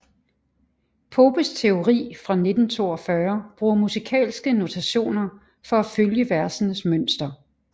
Popes teori fra 1942 bruger musikalske notationer for at følge versenes mønster